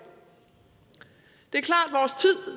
det er